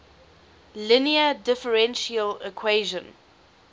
linear differential equation